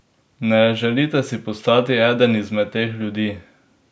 Ne želite si postati eden izmed teh ljudi!